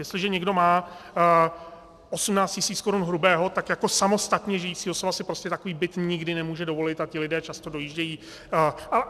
Jestliže někdo má 18 tisíc korun hrubého, tak jako samostatně žijící osoba si prostě takový byt nikdy nemůže dovolit a ti lidé často dojíždějí.